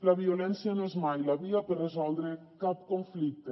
la violència no és mai la via per resoldre cap conflicte